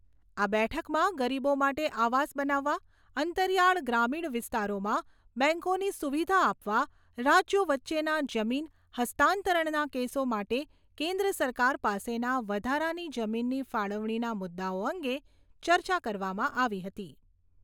આ બેઠકમાં ગરીબો માટે આવાસ બનાવવા, અંતરીયાળ ગ્રામીણ વિસ્તારોમાં બેંકોની સુવિધા આપવા રાજ્યો વચ્ચેના જમીન હસ્તાંતરણના કેસો માટે કેન્દ્ર સરકાર પાસેના વધારાની જમીનની ફાળવણીના મુદ્દાઓ અંગે ચર્ચા કરવામાં આવી હતી.